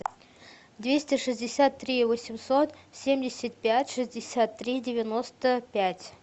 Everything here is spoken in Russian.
двести шестьдесят три восемьсот семьдесят пять шестьдесят три девяносто пять